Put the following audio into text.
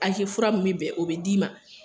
Aze fura min be bɛn o be d'i ma